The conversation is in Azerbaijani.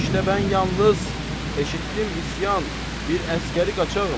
İştə mən yalnız eşitdim isyan, bir əsgəri qaçağım.